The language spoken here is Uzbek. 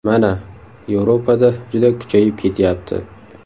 Mana, Yevropada juda kuchayib ketyapti.